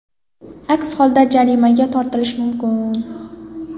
Aks holda jarimaga tortilish mumkin.